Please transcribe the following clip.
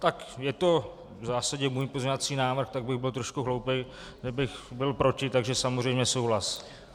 Tak je to v zásadě můj pozměňovací návrh, tak bych byl trošku hloupý, kdybych byl proti, takže samozřejmě souhlas.